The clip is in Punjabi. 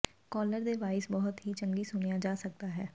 ਕਾਲਰ ਦੇ ਵਾਇਸ ਬਹੁਤ ਹੀ ਚੰਗੀ ਸੁਣਿਆ ਜਾ ਸਕਦਾ ਹੈ